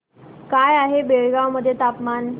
काय आहे बेळगाव मध्ये तापमान